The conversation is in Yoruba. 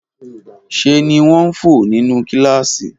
Ṣe ni wọ́n ń fò nínú kíláàsì